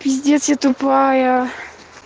пиздец я тупая